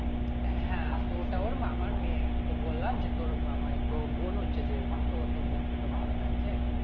হ্যাঁ তো ওটা ওর মামার মেয়ে আরকি তো বললাম যে তোর মামারই তো বোন হচ্ছে যেহেতু তো তোর বোনকে তো ভালো লাগছে